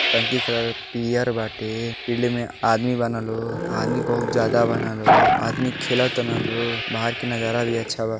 टंकी कलर पियर बाटे फील्ड में आदमी बाना लोग आदमी बहुत ज्यादा बाना लोग आदमी खेलताना लोग बाहर के नाजारा भी अच्छा बा।